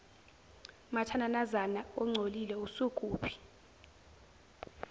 mathananazana ongcolile usukuphi